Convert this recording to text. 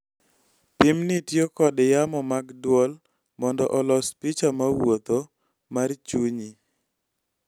Pim ni tiyo kod yamo mag dwol mondo olos picha ma wuotho ??mar chunyi.